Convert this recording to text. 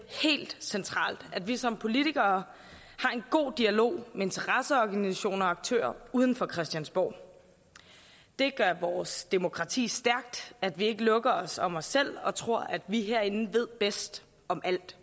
helt centralt at vi som politikere har en god dialog med interesseorganisationer og aktører uden for christiansborg det gør vores demokrati stærkt at vi ikke lukker os om os selv og tror at vi herinde ved bedst om alt